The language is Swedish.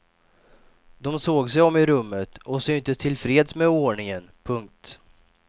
De såg sig om i rummet och syntes tillfreds med oordningen. punkt